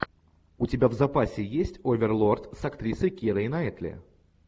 у тебя в запасе есть оверлорд с актрисой кирой найтли